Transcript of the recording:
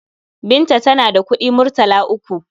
Binta tana da kuɗi murtala uku.